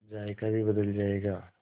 जायका भी बदल जाएगा